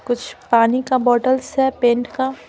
कुछ पानी का बोतल्स है पेंट का।